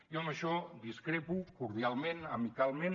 jo en això discrepo cordialment amicalment